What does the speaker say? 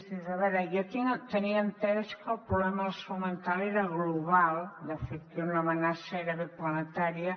dius a veure jo tenia entès que el problema de la salut mental era global de fet que era una amenaça gairebé planetària